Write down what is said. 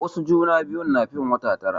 Wasu juna biyun na fin wata tara.